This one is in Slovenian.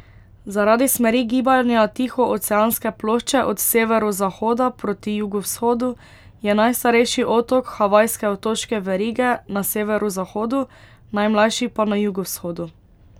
Zaradi smeri gibanja Tihooceanske plošče od severozahoda proti jugovzhodu je najstarejši otok havajske otoške verige na severozahodu, najmlajši pa na jugovzhodu.